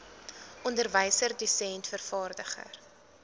onderwyser dosent vervaardiger